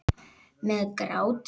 Með grátandi ekkjum, blómum og öllu.